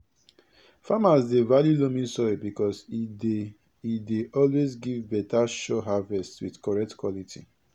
farmers dey value loamy soil because e dey e dey always give beta sure harvest with correct quality